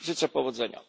Życzę powodzenia!